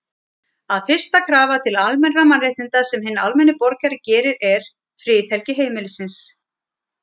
að fyrsta krafa til almennra mannréttinda sem hinn almenni borgari gerir er, friðhelgi heimilisins.